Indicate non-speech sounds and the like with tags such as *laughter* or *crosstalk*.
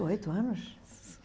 oito anos? *unintelligible*